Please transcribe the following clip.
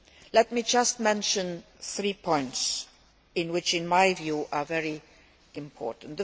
Let me just mention three points which, in my view, are very important.